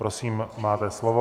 Prosím, máte slovo.